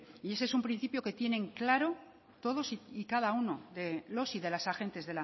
y ese es un principio que tienen claro todos y cada uno de los y de las agentes